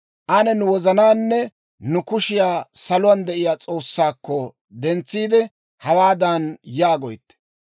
Ane nu wozanaanne nu kushiyaa saluwaan de'iyaa S'oossaakko dentsiide, hawaadan yaagoytte;